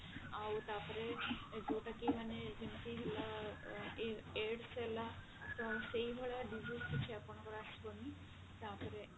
ଆଉ ତାପରେ ଯୋଉଟା କି ଯେମିତି ହେଲା ଏ AIDS ହେଲା ତ ସେଇ ଭଳିଆ disease କିଛି ଆପଣଙ୍କର ଆସିବନି ତାପରେ